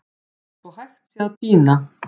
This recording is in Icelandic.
svo hægt sé að pína